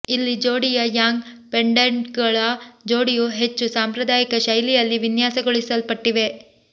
ಇಲ್ಲಿ ಜೋಡಿಯ ಯಾಂಗ್ ಪೆಂಡೆಂಟ್ಗಳ ಜೋಡಿಯು ಹೆಚ್ಚು ಸಾಂಪ್ರದಾಯಿಕ ಶೈಲಿಯಲ್ಲಿ ವಿನ್ಯಾಸಗೊಳಿಸಲ್ಪಟ್ಟಿವೆ